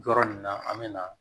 Yɔrɔ nin na an bɛ na